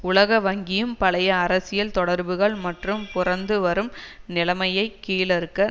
உலக வங்கியும் பழைய அரசியல் தொடர்புகள் மற்றும் புரந்து வரும் நிலைமையை கீழறுக்க